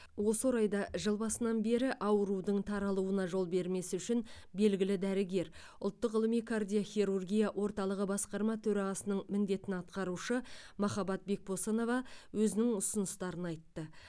осы орайда жыл басынан бері аурудың таралуына жол бермес үшін белгілі дәрігер ұлттық ғылыми кардиохирургия орталығы басқарма төрағасының міндетін атқарушы махаббат бекбосынова өзінің ұсыныстарын айтты